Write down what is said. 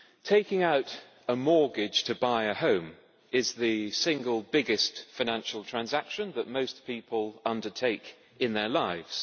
Taking out a mortgage to buy a home is the single biggest financial transaction that most people undertake in their lives.